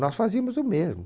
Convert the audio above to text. Nós fazíamos o mesmo.